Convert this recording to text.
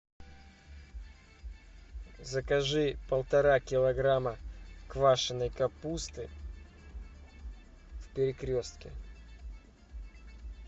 закажи полтора килограмма квашеной капусты в перекрестке